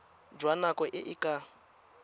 jwa nako e e ka